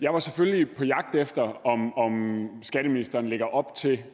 jeg var selvfølgelig på jagt efter om skatteministeren lægger op til